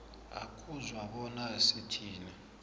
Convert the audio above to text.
ukuzwa bona sithini